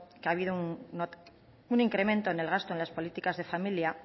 que ha habido un incremento en el gasto en las políticas de familia